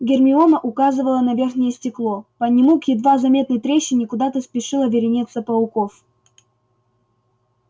гермиона указывала на верхнее стекло по нему к едва заметной трещине куда-то спешила вереница пауков